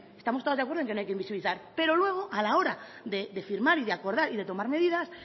estamos todas de acuerdo en que no hay que invisibilizar pero luego a la hora de firmar y de acordar y de tomar medidas